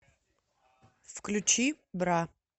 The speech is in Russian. включи бра